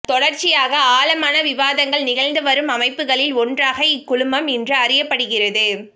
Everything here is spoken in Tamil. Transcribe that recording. தொடர்ச்சியாக ஆழமான விவாதங்கள் நிகழ்ந்துவரும் அமைப்புகளில் ஒன்றாக இக்குழுமம் இன்று அறியப்படுகிறது